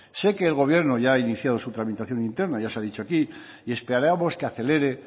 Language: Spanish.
sé que el gobierno ya ha iniciado su tramitación interna ya se ha dicho aquí y esperamos que acelere